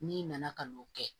N'i nana ka n'o kɛ